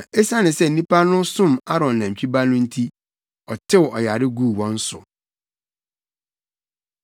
Na esiane sɛ nnipa no som Aaron nantwi ba no nti, ɔtew ɔyare guu wɔn so.